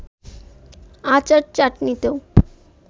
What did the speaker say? আচার-চাটনিতেও